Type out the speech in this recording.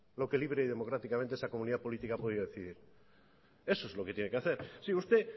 lo que libre y democráticamente esa comunidad política ha podido decidir eso es lo que tiene que hacer si usted